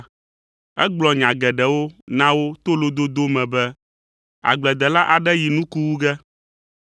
Egblɔ nya geɖewo na wo to lododo me be, “Agbledela aɖe yi nuku wu ge.